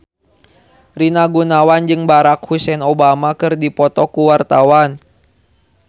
Rina Gunawan jeung Barack Hussein Obama keur dipoto ku wartawan